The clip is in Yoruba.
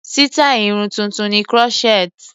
Sítáì Irun tuntun ni crochet.